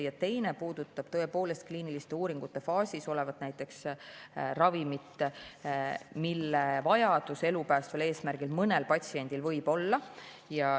Ja teine puudutab kliiniliste uuringute faasis olevaid ravimeid, mille vajadus elu päästmise eesmärgil mõnel patsiendil võib olla.